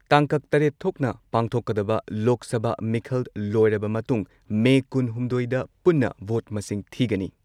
ꯇꯥꯡꯀꯛ ꯇꯔꯦꯠ ꯊꯣꯛꯅ ꯄꯥꯡꯊꯣꯛꯀꯗꯕ ꯂꯣꯛ ꯁꯚꯥ ꯃꯤꯈꯜ ꯂꯣꯏꯔꯕ ꯃꯇꯨꯡ ꯃꯦ ꯀꯨꯟ ꯍꯨꯝꯗꯣꯏꯗ ꯄꯨꯟꯅ ꯚꯣꯠ ꯃꯁꯤꯡ ꯊꯤꯒꯅꯤ ꯫